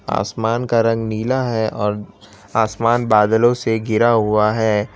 आसमान का रंग नीला है और आसमान बादलों से घिरा हुआ है।